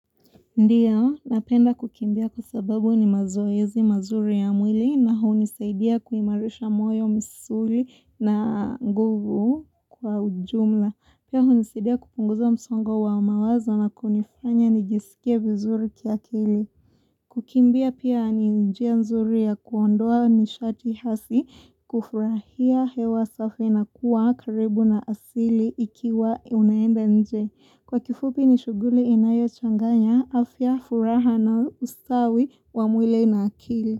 Ndiyo, napenda kukimbia kwa sababu ni mazoezi mazuri ya mwili na hunisaidia kuimarisha moyo misuli na nguvu kwa ujumla. Pia hunisaidia kupunguza msongo wa mawazo na kunifanya nijisikie vizuri kiakili. Kukimbia pia ni njia nzuri ya kuondoa nishati hasi kufurahia hewa safi na kuwa karibu na asili ikiwa unaenda nje. Kwa kifupi ni shughuli inayochanganya afya, furaha na ustawi wa mwili na akili.